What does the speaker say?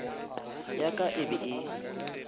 ya ka e be e